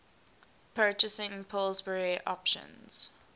purchasing pillsbury options